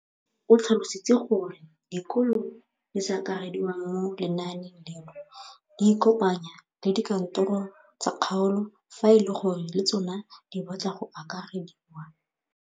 O tlhalositse gore dikolo tse di sa akarediwang mo lenaaneng leno di ikopanye le dikantoro tsa kgaolo fa e le gore le tsona di batla go akarediwa.